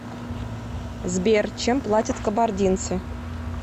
сбер чем платят кабардинцы